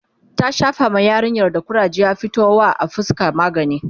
ta Shafa ma yarinyar da kuraje ya fito wa a fuska magani